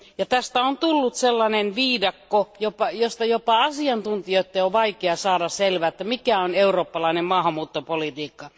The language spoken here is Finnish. Tästä on tullut sellainen viidakko, josta jopa asiantuntijoitten on vaikea saada selvää, että mikä on eurooppalainen maahanmuuttopolitiikka.